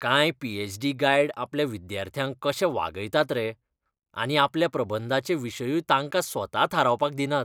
कांय P. H. D. Guide आपल्या विद्यार्थ्यांक कशें वागयतात रे. आनी आपल्या प्रबंधाचे विशयूय तांकां स्वता थारावपाक दिनात.